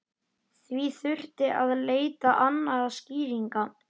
Því þurfti að leita annarra skýringa.